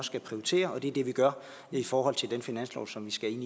skal prioritere og det er det vi gør i forhold til den finanslov som vi skal